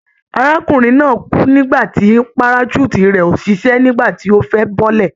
Arákùnrin náà kú nígbà tí parachute rẹ̀ ò ṣiṣẹ́ nígbà tí ó fẹ́ bọ́lẹ̀.